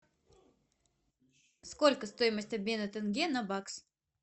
сколько стоимость обмена тенге на бакс